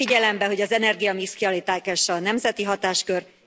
Vegye figyelembe, hogy az energiamix kialakítása nemzeti hatáskör.